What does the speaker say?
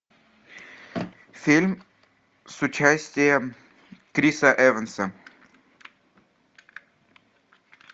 фильм с участием криса эванса